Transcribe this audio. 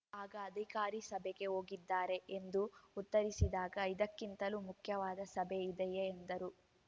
ಆಗ ಅಧಿಕಾರಿ ಸಭೆಗೆ ಹೋಗಿದ್ದಾರೆ ಎಂದು ಉತ್ತರಿಸಿದಾಗ ಇದಕ್ಕಿಂತಲೂ ಮುಖ್ಯವಾದ ಸಭೆ ಇದೆಯೇ ಎಂದರು